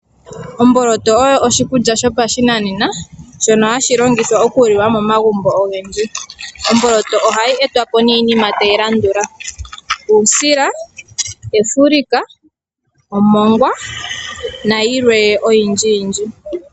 Omboloto oyo oshikulya shopashinanena shono hashi longithwa okuliwa momagumbo ogendji. Omboloto ohayi etwapo niinima tayi landula uusila, efulika, omongwa, nayilwe oyindji.